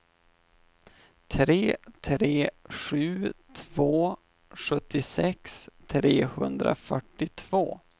tre tre sju två sjuttiosex trehundrafyrtiotvå